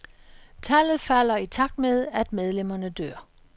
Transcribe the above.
Tallet falder i takt med, at medlemmerne dør.